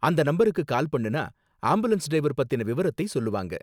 அந்த நம்பருக்கு கால் பண்ணுனா ஆம்புலன்ஸ் டிரைவர் பத்தின விவரத்தை சொல்லுவாங்க.